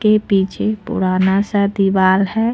इसके पीछे पुराना सा दीवार है।